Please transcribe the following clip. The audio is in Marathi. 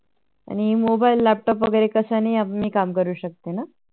आणि Mobile laptop वैगेरे कशानेही मी काम करू शकते ना